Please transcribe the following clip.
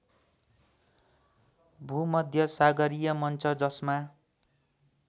भूमध्यसागरीय मन्च जसमा